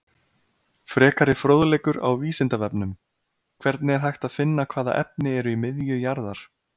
Frekari fróðleikur á Vísindavefnum: Hvernig er hægt að finna hvaða efni eru í miðju jarðar?